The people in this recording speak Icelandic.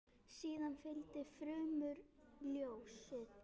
Síðan fylgdi frumort ljóð.